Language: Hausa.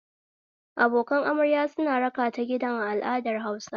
Abokan amarya suna rakata gidan a al'adar Hausa